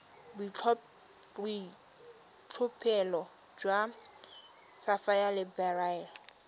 boitlhophelo jwa sapphire le beryl